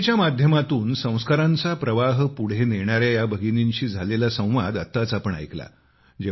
कथेच्या माध्यमातून संस्कारांचा प्रवाह पुढे नेणाऱ्या या भगिनींशी झालेला संवाद आपण आताच ऐकला